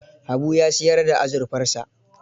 Habu ya siyar da azurfarsa.